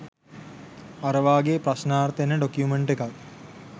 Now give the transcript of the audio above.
අර වාගේ ප්‍රශ්නාර්ථ එන ඩොකියුමන්ට් එකක්